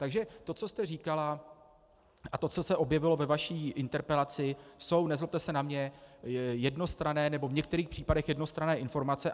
Takže to, co jste říkala, a to, co se objevilo ve vaší interpelaci, jsou, nezlobte se na mě, jednostranné, nebo v některých případech jednostranné informace.